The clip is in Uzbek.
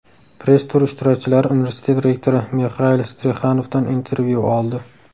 Press-tur ishtirokchilari universitet rektori Mixail Strixanovdan intervyu oldi.